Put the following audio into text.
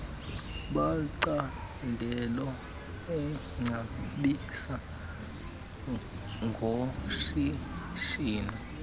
macandelo eengcebiso ngoshishino